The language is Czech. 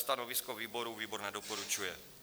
Stanovisko výboru - výbor nedoporučuje.